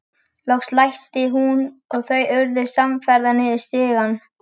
Loks læsti hún og þau urðu samferða niður stigann.